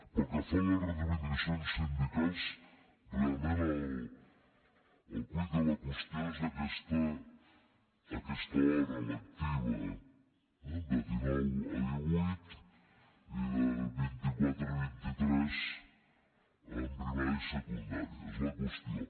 pel que fa a les reivindicacions sindicals realment el quid de la qüestió és aquesta hora lectiva de dinou a divuit i de vint i quatre a vint i tres en primària i secundària és la qüestió